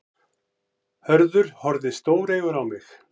Hörður horfði stóreygur á mig.